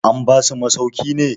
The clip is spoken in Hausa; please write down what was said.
an basu masauki ne?